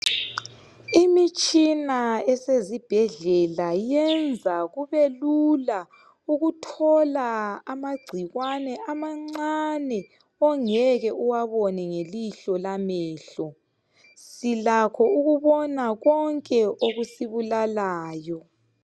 Imitshina esezibhedlela yenza kube lula ukuthola amagciwane amancane ongeke uwabone ngelihlo lamehlo silakho ukubona konke okusibulalayo.